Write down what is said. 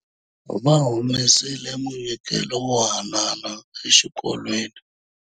Va humesile munyikelo wo haanana exikolweni.